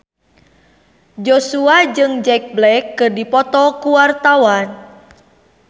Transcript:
Joshua jeung Jack Black keur dipoto ku wartawan